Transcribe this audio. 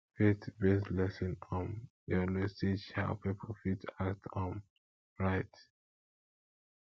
faith based lesson um dey always teach how pipo fit act um right